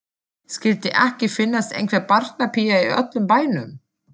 Skyldi ekki finnast einhver barnapía í öllum bænum.